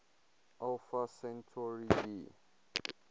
alpha centauri b